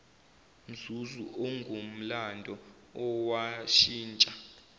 mzuzu ongumlando owashintsha